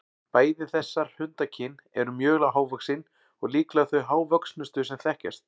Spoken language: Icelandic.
Bæði þessar hundakyn eru mjög hávaxin og líklega þau hávöxnustu sem þekkjast.